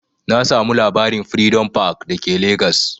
Na samu labarin'Freedom park' da ke legas